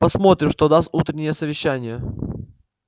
посмотрим что даст утреннее совещание